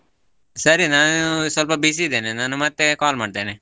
ಸರಿ ನಾನು ಸ್ವಲ್ಪ busy ಇದೇನೆ ನಾನು ಮತ್ತೆ call ಮಾಡ್ತೇನೆ.